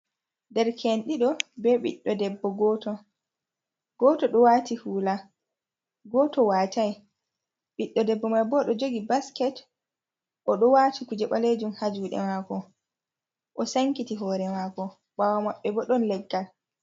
Derke´n ɗiɗo, be biɗɗo debbo gooto, gooto ɗo waati huula, gooto watay, ɓiɗɗo debbo man boo O ɗo gogi basket, o ɗo waati kuje ɓaleejum haa juuɗe maako, o sankiti hoore maako ɓaawo maɓɓe bo ɗon leggal.